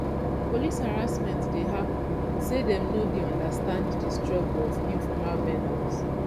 police harassment dey happen say dem no dey understand di struggle of informal vendors